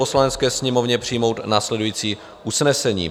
Poslanecké sněmovně přijmout následující usnesení: